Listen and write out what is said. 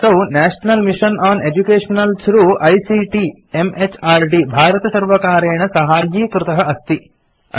असौ national mission on education through ICT म्हृद् भारतसर्वकारेण साहाय्यीकृत अस्ति